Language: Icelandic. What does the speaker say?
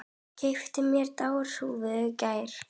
Keypti mér derhúfu í gær.